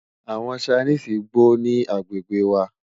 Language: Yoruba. àwọn Chinese gbó ní agbègbè wà